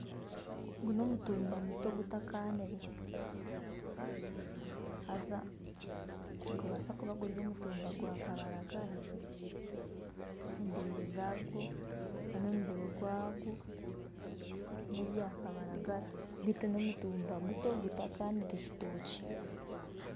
Ogu n'omutumba muto gutakanire haza nigubaasa kuba guri omutumba gwa kabaragara. Endere zagwo nana omubiri gwagwo nebya kabaragara bitu n'omutumba muto gutakanire kitokye.